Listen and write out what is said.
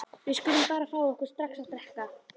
Við skulum bara fá okkur strax að drekka.